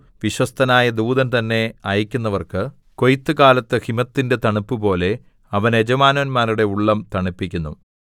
വിശ്വസ്തനായ ദൂതൻ തന്നെ അയക്കുന്നവർക്ക് കൊയ്ത്തുകാലത്ത് ഹിമത്തിന്റെ തണുപ്പുപോലെ അവൻ യജമാനന്മാരുടെ ഉള്ളം തണുപ്പിക്കുന്നു